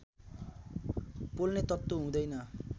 पोल्ने तत्त्व हुँदैन